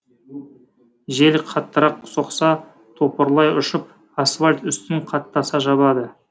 жел қаттырақ соқса топырлай ұшып асфальт үстін қаттаса жабады